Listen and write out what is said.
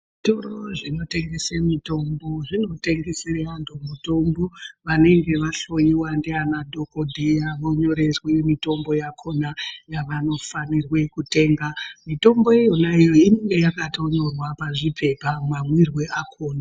Zvitoro zvinotengese mitombo zvinotengesere antu mutombo vanenge vahloiwa ndivana dhogodheya vonyorerwe mitombo yakona yavanofanirwe kutenga. Mitombo iyonayo inonga yakatonyorwa pazvipepa mamwirwe akona.